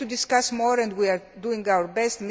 We have to discuss more and we are doing our best.